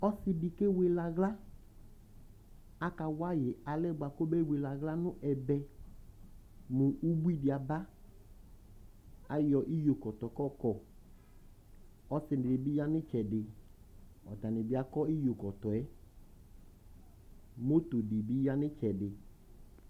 Ɔsɩ dɩ kewele aɣla Akawa yɩ alɛ yɛ bʋakʋ obewele aɣla nʋ ɛbɛ mʋ ubui dɩ aba Ayɔ iyokɔtɔ kʋ ɔɔkɔ Ɔsɩ nɩ bɩ ya nʋ ɩtsɛdɩ Atanɩ bɩ akɔ iyokɔtɔ yɛ Moto dɩ bɩ ya nʋ ɩtsɛdɩ